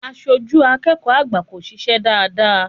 Aṣojú akẹ́kọ̀ọ́ àgbà kò ṣiṣẹ́ dáadáa.